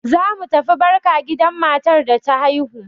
Zamu tafi barka gidan matar da ta haihu.